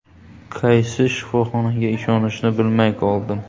Qaysi shifoxonaga ishonishni bilmay qoldim.